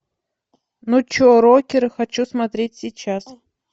ну че рокеры хочу смотреть сейчас